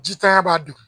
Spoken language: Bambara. Jitanya b'a dogo